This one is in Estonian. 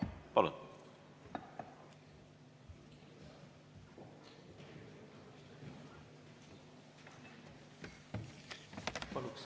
Palun!